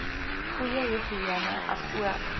goeie higïene asook